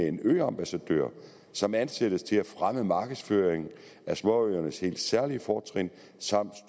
en øambassadør som ansættes til at fremme markedsføringen af småøernes helt særlige fortrin samt